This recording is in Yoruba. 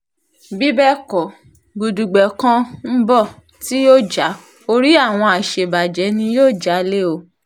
bí bẹ́ẹ̀ kọ́ gudugbẹ̀ kan ń bọ̀ tí yóò já orí àwọn àṣebàjẹ́ ni yóò já lé o